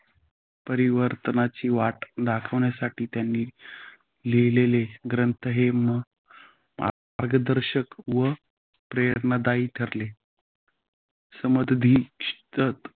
परिवर्तनाची वाट दाखविण्यासाठी त्यांन लिहिलेले ग्रंथ हे. मार्गदर्शक व प्रेरणादायी ठरले समताधिष्ठित